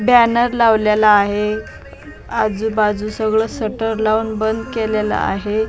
Banner लावलेला आहे आजूबाजू सगळं सटर लावून बंद केलेलं आहे.